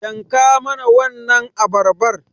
Yanka mana wannan abarbar